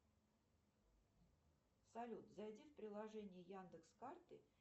салют зайди в приложение яндекс карты